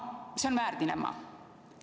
See on väärdilemma.